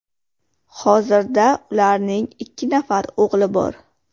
Hozirda ularning ikki nafar o‘g‘li bor.